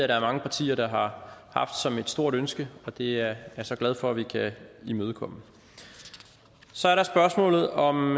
der er mange partier der har haft som et stort ønske og det er jeg så glad for vi kan imødekomme så er der spørgsmålet om